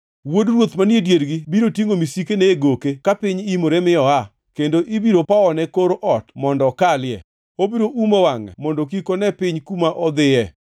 “Wuod ruoth manie diergi biro tingʼo misikene e goke ka piny imore mi oa, kendo ibiro powone kor ot mondo okalie. Obiro umo wangʼe mondo kik one piny kuma odhiye.